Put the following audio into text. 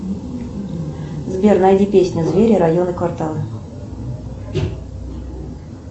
сбер найди песню звери районы кварталы